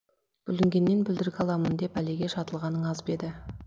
бүлінгеннен бүлдіргі аламын деп бәлеге шатылғаның аз ба еді